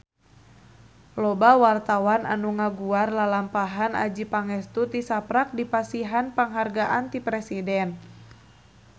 Loba wartawan anu ngaguar lalampahan Adjie Pangestu tisaprak dipasihan panghargaan ti Presiden